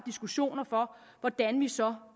diskussioner om hvordan vi så